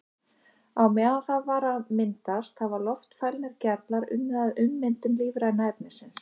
Á meðan það var að myndast hafa loftfælnir gerlar unnið að ummyndun lífræna efnisins.